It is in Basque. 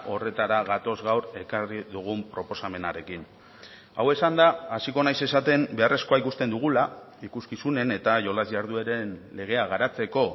horretara gatoz gaur ekarri dugun proposamenarekin hau esanda hasiko naiz esaten beharrezkoa ikusten dugula ikuskizunen eta jolas jardueren legea garatzeko